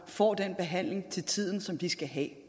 får den behandling til tiden som de skal have